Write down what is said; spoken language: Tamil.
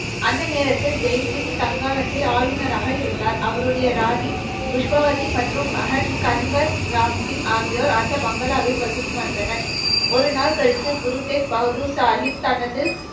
அந்த நேரத்தில், ஜெய்சிங் சங்ஹானத்தில் ஆளுநராக இருந்தார். அவருடைய ராணி புஷ்பவதி மற்றும் மகன் கன்வர் ராம்சிங் ஆகியோர் அந்த பங்களாவில் வசித்து வந்தனர். ஒரு நாள் கழித்து, குரு தேக் பகதூர் சாகிப் தனது,